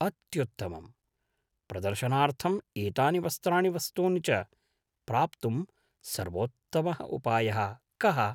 अत्युत्तमम्। प्रदर्शनार्थम् एतानि वस्त्राणि वस्तूनि च प्राप्तुं सर्वोत्तमः उपायः कः?